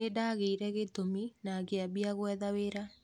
Nĩndagĩire gĩtũmi na ngĩambia gwetha wĩra.